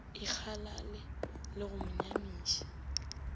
ikgalale le go mo nyamiša